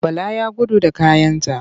Bala ya gudu da kayanta.